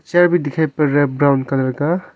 Chair भी दिखाई पड़ रहा है ब्राउन कलर का।